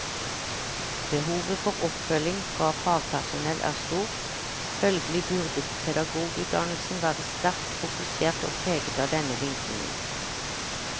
Behovet for oppfølging fra fagpersonell er stort, følgelig burde pedagogutdannelsen være sterkt fokusert og preget av denne vinklingen.